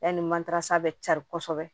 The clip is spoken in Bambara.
Yanni mantarasa bɛ carin kosɛbɛ